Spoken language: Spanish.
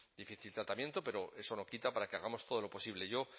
tratamiento pero eso no quita para que hagamos todo lo posible yo